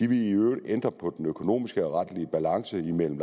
ville i øvrigt ændre på den økonomiske og retlige balance mellem